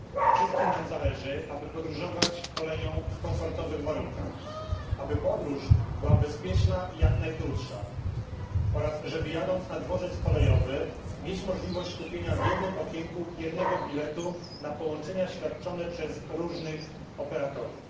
Wszystkim nam zależy, aby podróżować koleją w komfortowych warunkach, aby podróż była bezpieczna i jak najkrótsza oraz żeby jadąc na dworzec kolejowy, mieć możliwość kupienia w jednym okienku jednego biletu na połączenia świadczone przez różnych operatorów.